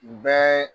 Bɛɛ